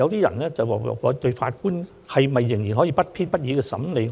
有人會問，現時法官退休後可以做甚麼呢？